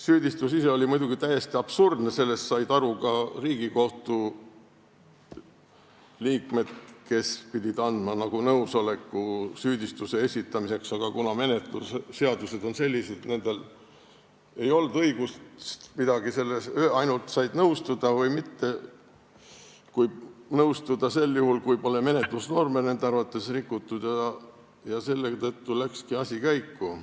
Süüdistus ise oli muidugi täiesti absurdne, sellest said aru ka Riigikohtu liikmed, kes pidid andma nõusoleku süüdistuse esitamiseks, aga kuna menetlusseadused on sellised, et nendel ei olnud õigust midagi öelda, nad said ainult nõustuda või mitte, kuid nõustuda tuli neil sel juhul, kui menetlusnorme polnud nende arvates rikutud, läkski asi käiku.